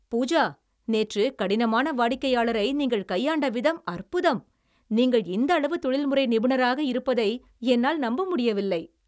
பூஜா, நேற்று கடினமான வாடிக்கையாளரை நீங்கள் கையாண்ட விதம் அற்புதம். நீங்கள் இந்த அளவு தொழில்முறை நிபுணராக இருப்பதை என்னால் நம்ப முடியவில்லை.